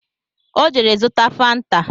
Ọ jere zụta fanta